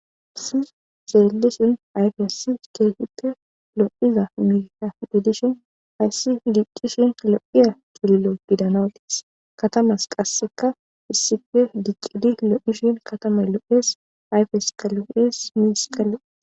Sir xeellusin ayfessi keehipte lo7iza miiha bedishin ayssi diccishin a lo7iya culilo bidanawudees katamas qasseka issife diccidi lo7ishin katama lo7ees ayfes qalo7es mis qali